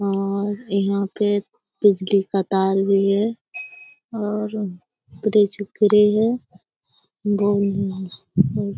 और यहाँ पे बिजली का तार भी है और ब्रिज ग्रे है।